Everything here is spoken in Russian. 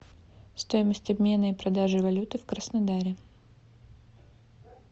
стоимость обмена и продажи валюты в краснодаре